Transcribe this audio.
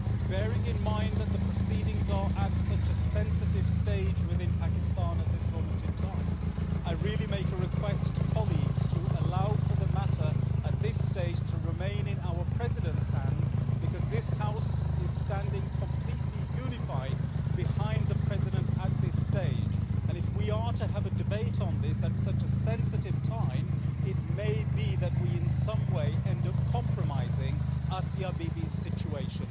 Bearing in mind that the proceedings are at such a sensitive stage within Pakistan at this moment in time, I really make a request to colleagues to allow for the matter at this stage to remain in our President's hands, because this House is standing completely unified behind the President at this stage, and if we are to have a debate on this at such a sensitive time, it may be that we in some way end up compromising Asia Bibi's situation.